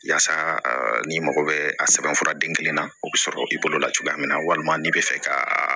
Yaasa n'i mago bɛ a sɛbɛn fura den kelen na o bɛ sɔrɔ i bolo la cogoya min na walima n'i bɛ fɛ ka